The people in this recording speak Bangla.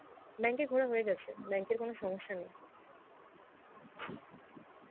bank এ ঘোরা হয়েগেছে, bank এ কোনো সমস্যা নেই